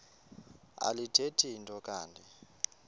alithethi nto kanti